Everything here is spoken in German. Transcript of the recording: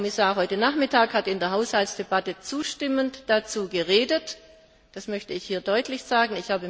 Der Kommissar hat heute Nachmittag in der Haushaltsdebatte sich zustimmend dazu geäußert, das möchte ich hier deutlich sagen.